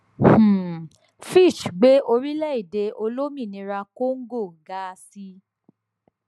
um fitch gbé orílẹèdè olómìnira congo ga sí